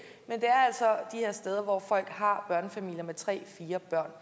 er steder hvor folk har børnefamilier med tre og fire børn